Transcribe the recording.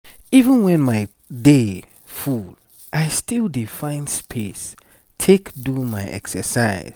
even when my day full i still dey find space take do my exercise.